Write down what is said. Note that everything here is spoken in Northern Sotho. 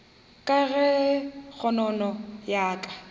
ka ge kgonono ya ka